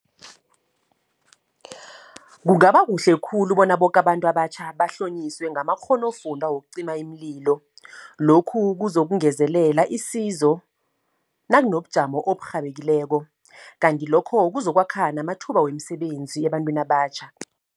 Kungaba kuhle khulu bona boke abantu abatjha bahlonyiswe ngamakghonofunda wokucima iimlilo. Lokhu kuzokungezelela isizo, nakunobujamo oburhabekileko. Kanti lokho kuzokwakha namathuba wemsebenzi ebantwini abatjha.